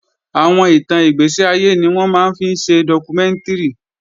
Àwọn ìtàn ìgbẹ̀séayé ni wọ́n máa ń fi ṣe dọ́kúmẹ́ǹtìrì